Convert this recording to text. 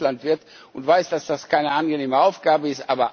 Ich bin selbst Landwirt und weiß, dass das keine angenehme Aufgabe ist.